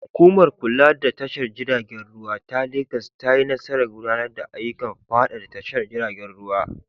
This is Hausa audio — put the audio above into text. Hukumar kula da tashar jiragen ruwa ta Legas ta yi nasarar gudanar da ayyukan faɗaɗa tashar jiragen ruwa.